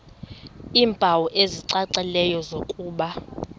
iimpawu ezicacileyo zokuba